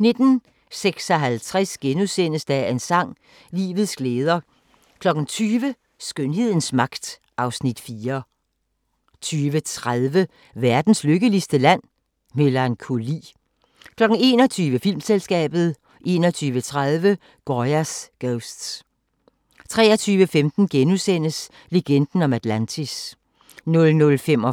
19:56: Dagens sang: Livets glæder * 20:00: Skønhedens magt (Afs. 4) 20:30: Verdens lykkeligste Land? – Melankoli 21:00: Filmselskabet 21:30: Goya's Ghosts 23:15: Legenden om Atlantis * 00:45: